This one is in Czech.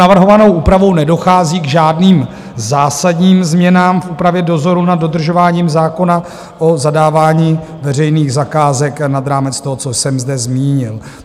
Navrhovanou úpravou nedochází k žádným zásadním změnám v úpravě dozoru nad dodržováním zákona o zadávání veřejných zakázek nad rámec toho, co jsem zde zmínil.